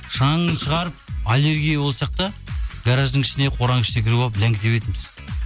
шаңын шығарып аллергия болсақ та гараждың ішіне қораның ішіне кіріп алып ләңгі тебетінбіз